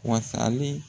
Wasalen